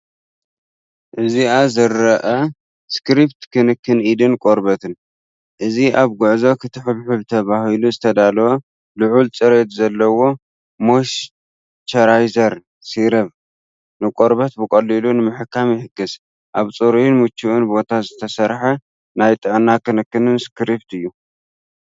ኣብዚ ዝርአ ስክሪፕት ክንክን ኢድን ቆርበትን። እዚ ኣብ ጉዕዞ ክትሕብሕብ ተባሂሉ ዝተዳለወ ልዑል ጽሬት ዘለዎ ሞይስቸራይዘር ሴራቨ፡ ንቆርበት ብቐሊሉ ንምሕካም ይሕግዝ። ኣብ ጽሩይን ምቹእን ቦታ ዝተሰርሐ ናይ ጥዕና ክንክን ስክሪፕት እዩ።